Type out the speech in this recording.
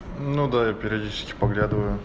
ну да я периодически подглядываю